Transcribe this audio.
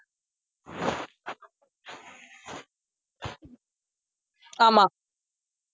ஆமா